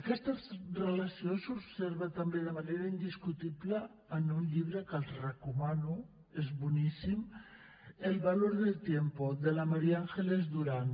aquesta relació s’observa també de manera indiscutible en un llibre que els recomano és boníssim el valor del tiempo de la maría ángeles durán